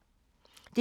DR1